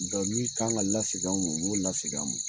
min kan ka lagin aw ma, u b'u lasegin aw ma